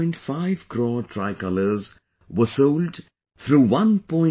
5 crore tricolors were sold through 1